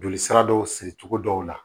Joli sira dɔw siri cogo dɔw la